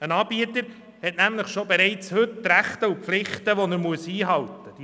Ein Anbieter hat bereits heute Rechte und Pflichten, die er einhalten muss.